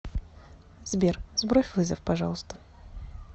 сбер сбрось вызов пожалуйста